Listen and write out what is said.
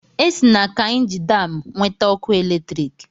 Esi na Kaịnji Daam nweta ọkụ eletriki.